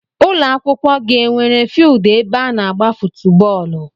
Ụlọakwụkwọ gị enwere fieeldu ebe ana agba footu bóólú?